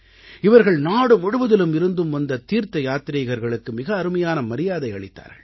இவர்கள் நாடு முழுவதிலும் இருந்தும் வந்த தீர்த்த யாத்ரீகர்களுக்கு மிக அருமையான மரியாதை அளித்தார்கள்